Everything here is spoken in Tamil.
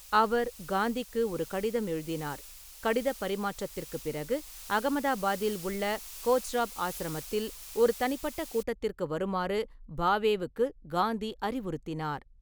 அவர் காந்திக்கு ஒரு கடிதம் எழுதினார், கடிதப் பரிமாற்றத்திற்குப் பிறகு, அகமதாபாத்தில் உள்ள கோச்ராப் ஆசிரமத்தில் ஒரு தனிப்பட்ட கூட்டத்திற்கு வருமாறு பாவேவுக்கு காந்தி அறிவுறுத்தினார்.